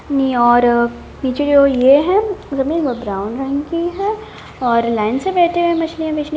नि और नीचे की तरफ ये है ब्राउन रंग के है और लाइन से बैठे है मछलियाँ बेच --